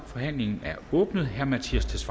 forhandlingen er åbnet herre mattias